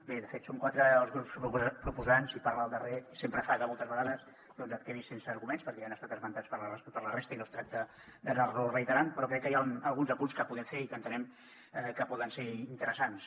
bé de fet som quatre els grups proposants i parlar el darrer sempre fa que moltes vegades doncs et quedis sense arguments perquè ja han estat esmentats per la resta i no es tracta d’anar los reiterant però crec que hi han alguns apunts que podem fer i que entenem que poden ser interessants